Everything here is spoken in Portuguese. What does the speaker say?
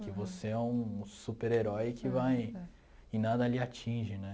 Que você é um super-herói que vai... E nada lhe atinge, né?